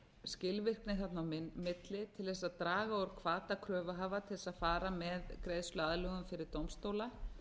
skilvirkni þarna á milli til þess að draga úr bata kröfuhafa til þess að fara með greiðsluaðlögun fyrir dómstóla